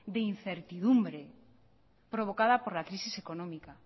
de incertidumbre provocada por la crisis económica